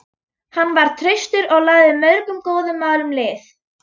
Hann var traustur og lagði mörgum góðum málum lið.